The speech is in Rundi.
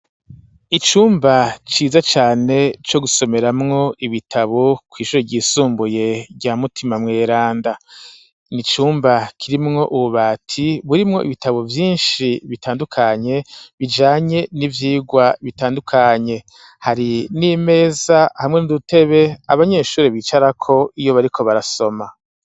Icumba ciza cane co gusomeramwo ibitabo kw'shuri ry'isumbuye rya mutima mweranda n'icumba kirimwo ububati burimwo ibitabo vyishi bitandukanye bijanye n'ivyirwa bitandukanye hari n'imeza hamwe n'udutebe abanyeshuri bicarako iyo bariko barasoma .